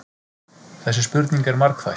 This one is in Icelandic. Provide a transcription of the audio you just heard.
Þessi spurning er margþætt.